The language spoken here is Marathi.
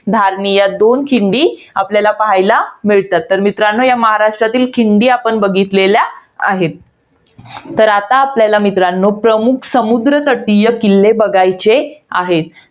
धार्मी या दोन खिंडी आपल्याला पाहायला मिळतात. तर मित्रांनो ये महाराष्ट्रातील खिंडी आपण बघितलेल्या आहेत. तर आता आपल्याला मित्रांनो, प्रमुख समुद्रतटीय किल्ले बघायचे आहेत.